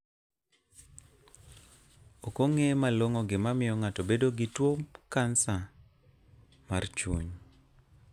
Ok ong'e malong'o gima miyo ng'ato bedo gi tuo kansa mar chuny